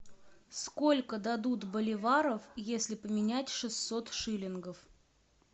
сколько дадут боливаров если поменять шестьсот шиллингов